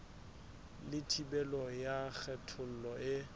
le thibelo ya kgethollo e